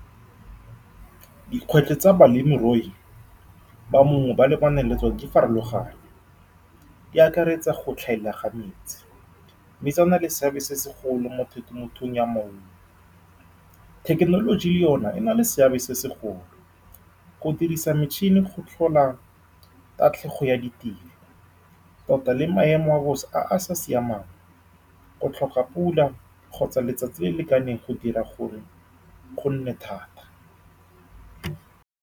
Dikgwetlho tsa balemirui ba maungo ba lebaneng le tsone di farologane. Di akaretsa go tlhaela ga metsi, mme tsona le seabe se segolo mo temothuong ya maungo. Thekenoloji le yone e na le seabe se segolo, go dirisa metšhini go tlhola tatlhego ya ditiro, tota le maemo a bosa a a sa siamang, go tlhoka pula kgotsa letsatsi le le lekaneng, go dira gore go nne thata.